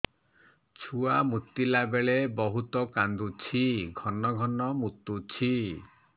ଛୁଆ ମୁତିଲା ବେଳେ ବହୁତ କାନ୍ଦୁଛି ଘନ ଘନ ମୁତୁଛି